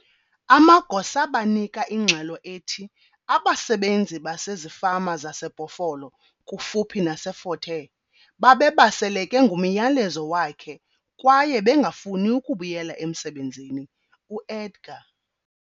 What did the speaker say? Amagosa banika ingxelo ethi abasebenzi basezifama zaseBhofolo kufuphi naseFort Hare, babebaseleke ngumyalezo wakhe kwaye bengafuni ukubuyela emsebenzini, UEdgar.